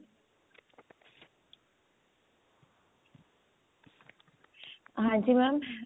ਹਾਂਜੀ mam